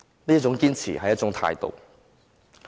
這種堅持，是一種態度。